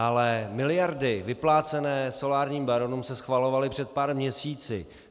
Ale miliardy vyplácené solárním baronům se schvalovaly před pár měsíci.